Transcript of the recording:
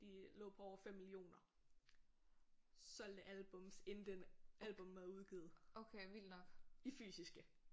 De lå på over 5 millioner solgte albums inden den albummet er udgivet i fysiske